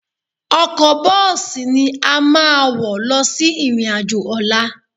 Ọkọ̀ bọ́ọ̀sì ni a máa wọ̀ lọ sí ìrìn-àjò ọ̀la